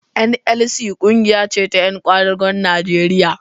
NLC ƙungiya ce ta ƴan ƙwadagon Nigeria